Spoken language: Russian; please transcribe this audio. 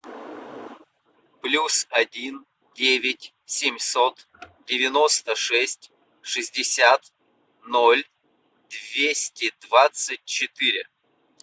плюс один девять семьсот девяносто шесть шестьдесят ноль двести двадцать четыре